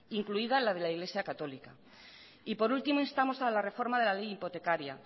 incluida la de la iglesia católica y por último instamos a la reforma de la ley hipotecaría